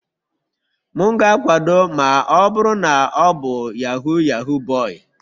M ga-akwado ma ọ bụrụ na ọ bụ Yahoo yahoo boy.